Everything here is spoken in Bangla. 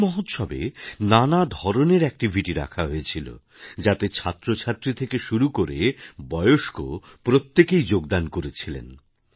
এই মহোৎসবে নানা ধরনের অ্যাকটিভিটি রাখা হয়েছিল যাতে ছাত্র ছাত্রী থেকে শুরু করে বয়স্ক প্রত্যেকেই যোগদান করেছিলেন